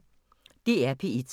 DR P1